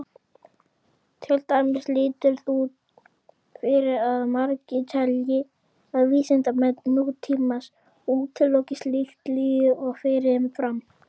Til dæmis lítur út fyrir að margir telji að vísindamenn nútímans útiloki slíkt líf fyrirfram.